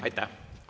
Aitäh!